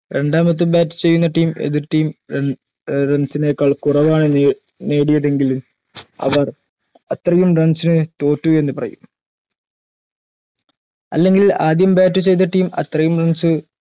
രണ്ടാമത് bat ചെയ്യുന്ന team എതിർ team run runs നെക്കാൾ കുറവാണ് നേടിയതെങ്കില് അവർ അത്രയും runs ന് തോറ്റു എന്ന് പറയും അല്ലെങ്കിൽ അദ്യം bat ചെയ്ത team അത്രയും runs